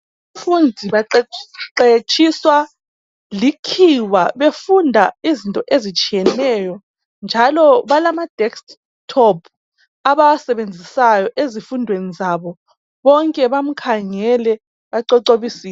Abafundi baqeqetshiswa likhiwa befunda izinto ezitshiyeneyo njalo balama desk top abawasebenzisayo ezifundweni zabo, bonke bamkhangele bacocobisile.